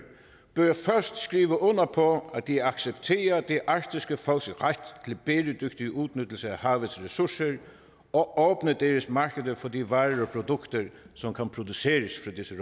først bør skrive under på at de accepterer det arktiske folks ret til en bæredygtig udnyttelse af havets ressourcer og åbner deres markeder for de varer og produkter som kan produceres af disse